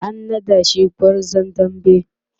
an naɗa shi gwarzon dambe